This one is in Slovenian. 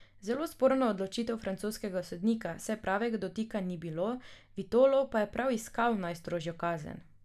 Zelo sporna odločitev francoskega sodnika, saj pravega dotika ni bilo, Vitolo pa je prav iskal najstrožjo kazen.